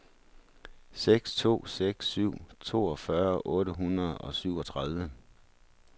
seks to seks syv toogfyrre otte hundrede og syvogtredive